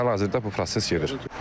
Hal-hazırda bu proses gedir.